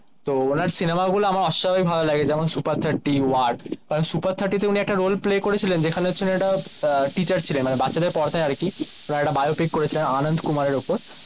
তো উনার সিনেমাগুলো আমার অস্বাভাবিক ভালো লাগে যেমন সুপার থার্টি ওয়ার সুপার থার্টি তে উনি একটা রোল প্লে করেছিলেন যেখানে হচ্ছেন একটা আহ টিচার ছিলেন মানে বাচ্চাদের পড়াতেন আর কি প্রায় একটা বিও পিসিতে করেছিলেন আনন্দ কুমারে এর ওপর